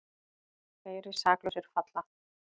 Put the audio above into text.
Fleiri saklausir falla